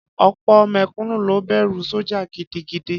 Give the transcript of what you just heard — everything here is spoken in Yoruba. Ọ̀pọ̀ mẹ̀kúnnù ló bẹ̀rù sọ́jà gidigidi.